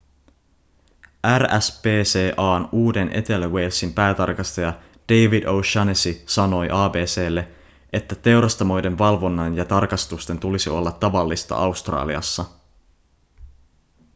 rspca:n uuden-etelä-walesin päätarkastaja david o'shannessy sanoi abc:lle että teurastamoiden valvonnan ja tarkastusten tulisi olla tavallista australiassa